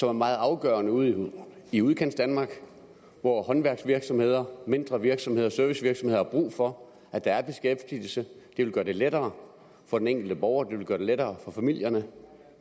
er meget afgørende ude i udkantsdanmark hvor håndværksvirksomheder mindre virksomheder og servicevirksomheder har brug for at der er beskæftigelse det vil gøre det lettere for den enkelte borger det vil gøre det lettere for familierne